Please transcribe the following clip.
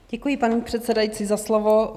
Děkuji, paní předsedající, za slovo.